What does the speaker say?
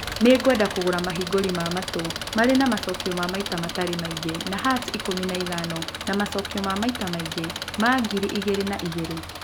Nĩ ngwenda kũgũra mahingũri ma matũ marĩ na macookio ma maita matirĩ maingĩ ma hertz ikũmi na ithano na macookio ma maita maingĩ ma ngiri igĩrĩ na igĩrĩ